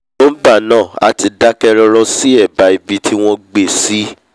nígbà naa a ti dake roro si eba ibi ti won gbe si